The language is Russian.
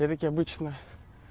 я ведь обычно